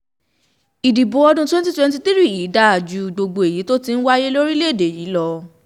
ìdìbò ọdún twenty twenty three yìí dáa ju gbogbo èyí tó ti ń wáyé lórílẹ̀-èdè yìí lọ